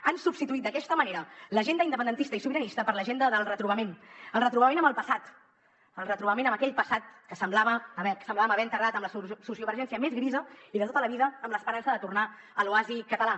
han substituït d’aquesta manera l’agenda independentista i sobiranista per l’agenda del retrobament el retrobament amb el passat el retrobament amb aquell passat que semblàvem haver enterrat amb la sociovergència més grisa i de tota la vida amb l’esperança de tornar a l’oasi català